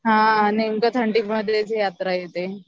हा नेमकं थंडीमध्येच यात्रा येते